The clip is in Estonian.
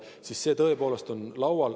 See teema tõepoolest on laual.